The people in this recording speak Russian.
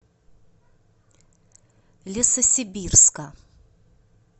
лесосибирска